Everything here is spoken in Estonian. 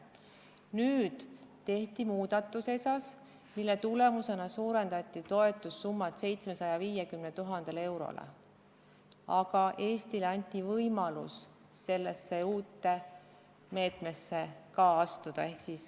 Nüüd tehti ESA-s muudatus, mille tulemusena suurendati toetussummat 750 000 euroni, ja Eestile anti võimalus ka sellesse uude meetmesse astuda.